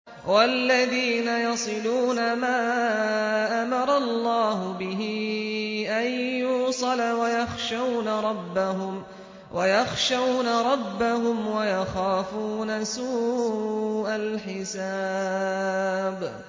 وَالَّذِينَ يَصِلُونَ مَا أَمَرَ اللَّهُ بِهِ أَن يُوصَلَ وَيَخْشَوْنَ رَبَّهُمْ وَيَخَافُونَ سُوءَ الْحِسَابِ